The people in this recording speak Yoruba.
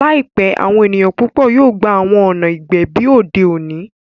Laipẹ, awọn eniyan pupọ yoo gba awọn ọna igbẹbi ode oni.